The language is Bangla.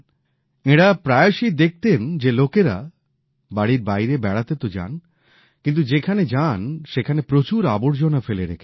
এঁরা প্রায়শই দেখতেন কি লোকেরা বাড়ীর বাইরে বেড়াতে তো যান কিন্তু যেখানে যান সেখানে প্রচুর আবর্জনা ফেলে রেখে আসেন